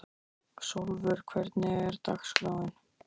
Sólvör, hvernig er dagskráin?